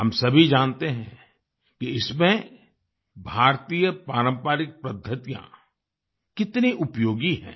हम सभी जानते हैं कि इसमें भारतीय पारम्परिक पद्धतियाँ कितनी उपयोगी हैं